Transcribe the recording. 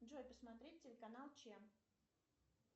джой посмотреть телеканал че